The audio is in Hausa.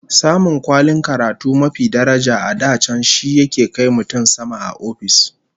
Samun kwalin karatu mafi daraja a da can shi yake kai mutum sama a ofis